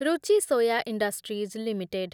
Ruchi soya industries limited